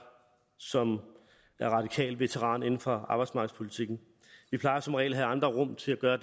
som radikal veteran inden for arbejdsmarkedspolitikken vi plejer som regel at have andre rum til at gøre